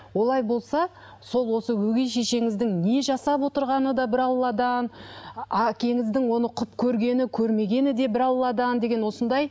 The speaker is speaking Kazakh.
олай болса сол осы өгей шешеңіздің не жасап отырғаны да бір алладан әкеңіздің оны құп көргені көрмегені де бір алладан деген осындай